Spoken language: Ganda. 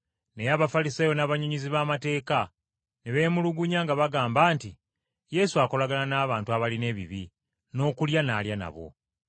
Naye Abafalisaayo n’abannyonnyozi b’amateeka ne beemulugunya nga bagamba nti Yesu akolagana n’abantu abalina ebibi, n’okulya n’alya nabo.